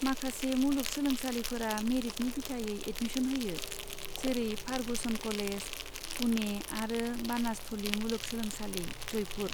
माखासे मुलुग सोलोंसालिफोरा मेरिटनि बिथायै एदमिसन होयो जेरै फारगुसन कलेज, पुने आरो बानासथलि मुलुगसोलोंसालि, जयपुर।